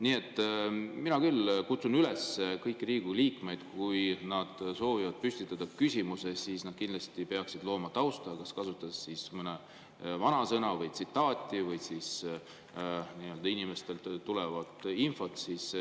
Nii et mina küll kutsun üles kõiki Riigikogu liikmeid, et kui nad soovivad püstitada küsimuse, siis nad kindlasti peaksid looma tausta, kas kasutades mõnda vanasõna või tsitaati või inimestelt tulnud infot.